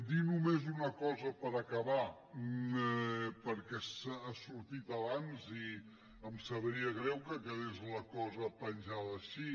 dir només una cosa per acabar perquè ha sortit abans i em sabria greu que quedés la cosa penjada així